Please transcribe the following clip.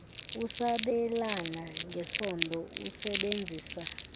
usabelana ngesondo usebenzisa